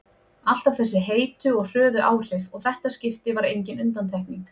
Alltaf þessi heitu og hröðu áhrif og þetta skipti var engin undantekning.